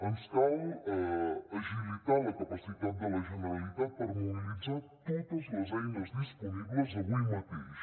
ens cal agilitar la capacitat de la generalitat per mobilitzar totes les eines disponibles avui mateix